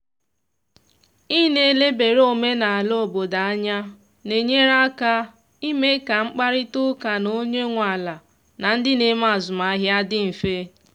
ị na elebara omenala obodo anya na enyere aka ime ka mkparịta ụka na onye nwe ala na ndị na eme azụmahịa dị mfe.